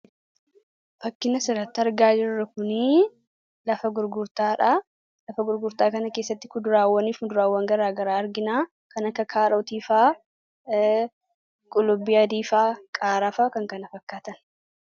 fakkii asiirratti argaa jirru kunii lafa gurgurtaadha lafa gurgurtuaa kana keessatti kuduraawwaniif muduraawwan garaagaraa arginaa kan akka kaarotiifaa qulubbiifaa qaaraafa kan kan fakkaatan